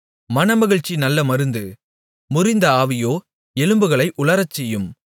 மனமகிழ்ச்சி நல்ல மருந்து முறிந்த ஆவியோ எலும்புகளை உலரச்செய்யும்